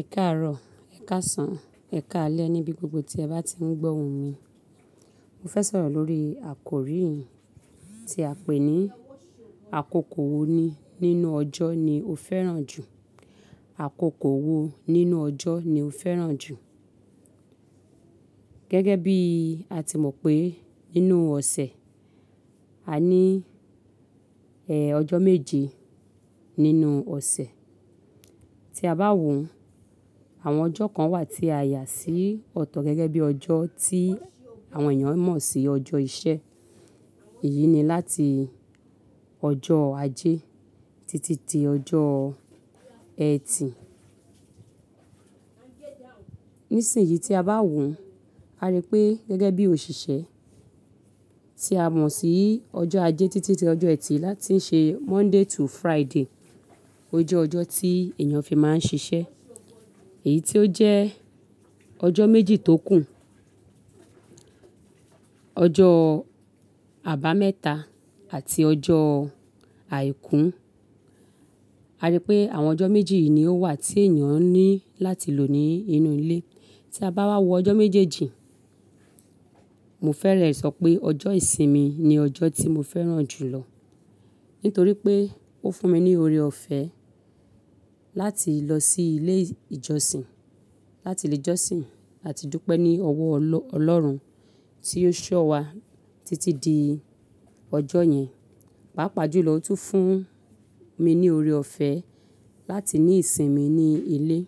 Ẹ káàárọ̀, ẹ káàsán, ẹ káalẹ́ níbi gbogbo tí ẹ bá ti ń gbọ́ ohùn mi. Mo fẹ́ sọ̀rọ̀ lórí àkórí yìí tí a pè ní "Àkókò wo ní nínú ọjọ́ ni o fẹ́ràn jù?" Àkókò wo nínú ọjọ́ ni o fẹ́ràn jù? Gẹ́gẹ́ bí a ti mọ̀ pé nínú ọ̀sẹ̀ a ní ẹ, ọjọ́ méje nínú ọ̀sẹ̀. Tí a bá wò, àwọn ọjọ́ kan wà tí a yà sí ọ̀tọ̀ gẹ́gẹ́ bí ọjọ́ tí àwọn èèyàn mọ̀ sí ọjọ́ iṣẹ́. Èyí ni láti ọjọ́ ajé títí di ọjọ́ ẹtì. Nísìnyí tí a bá wò, a rí pé gẹ́gẹ́ bí òṣìṣẹ́ tí a mọ̀ sí ọjọ́ ajé títí dé ọjọ́ ẹtì láti ṣe Monday to Friday, ó jẹ́ ọjọ́ tí èèyàn fi máa ń ṣiṣẹ́. Èyí tí ó jẹ́ ọjọ́ méjì tó kù, ọjọ́ àbámẹ́ta àti ọjọ́ àìkú, a rí pé àwọn ọjọ́ méjì yìí ni ó wà tí èèyàn ní láti lò ní inú ilé. Tí a bá wá wọ ọjọ́ méjèèjì, mo fẹ́rẹ̀ sọ pé ọjọ́ ìsinmi ni ọjọ́ tí mo fẹ́ràn jù lọ nítorí pé ó fún mi ní oore ọ̀fẹ́ láti lọ sí ilé ìjọsìn, láti lè jọ́sìn àti dúpẹ́ ní ọwọ́ ọlọ́run tí ó ṣọ́ wa títí di ọjọ́ yẹn. Páápàá jùlọ ó tún fún mi ní oore ọ̀fẹ́ láti ní ìsinmi ní ilé.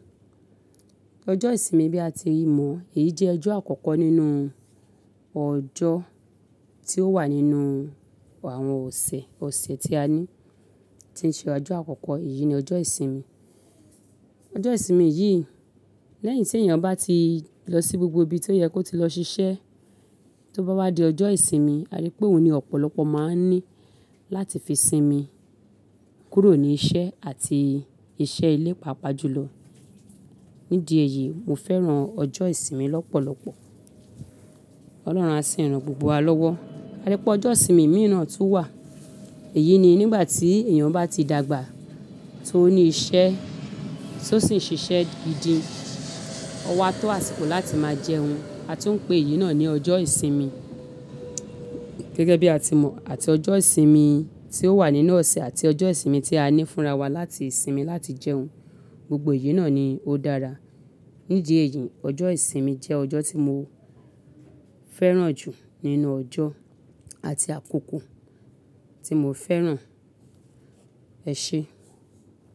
Ọjọ́ ìsinmi bí a ti mọ̀ èyí jẹ́ ọjọ́ àkọ́kọ́ nínú ọjọ́ tí ó wà nínú àwọn ọ̀sẹ̀, ọ̀sẹ̀ tí a ní. Tí í ṣe ọjọ́ àkọ́kọ́, èyí ni ọjọ́ ìsinmi. Ọjọ́ ìsinmi yìí lẹ́yìn tí èèyàn bá ti lọ sí gbogbo ibi tó yẹ kó ti lọ ṣiṣẹ́, tó bá wá di ọjọ́ ìsinmi a rí pé òun ni ọ̀pọ̀lọpọ̀ máa ń ní láti fi sinmi kúrò ní iṣẹ́ àti iṣẹ́ ilé pàápàá jùlọ. Nídìí èyí, mo fẹ́ràn ọjọ́ ìsinmi lọ́pọ̀lọpọ̀. Ọlọ́run á sì ran gbogbo wa lọ́wọ́. A rí pé ọjọ́ ìsinmi mìí na tún wà. Èyí ni nígbà tí èèyàn bá ti dàgbà tó ní iṣẹ́ tó sì ń ṣiṣẹ́ gidi, ọwọ́ á tó àsìkò láti máa jẹun. A tún ń pè èyí náà ní ọjọ́ ìsinmi. Gẹ́gẹ́ bí a ti mọ̀, àti ọjọ́ ìsinmi tí ó wà nínú ọ̀sẹ̀ àti ọjọ́ ìsinmi tí a ní fúnra wa láti sinmi láti jẹun, gbogbo èyí náà ni ó dára. Nídìí èyí, ọjọ́ ìsinmi jẹ́ ọjọ́ tí mo fẹ́ràn jù nínú ọjọ́ àti àkókò tí mo fẹ́ràn. Ẹ ṣé.